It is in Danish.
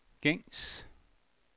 gængs